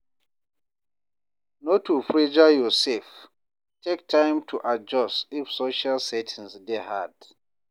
No too pressure yourself; take time to adjust if social settings dey hard.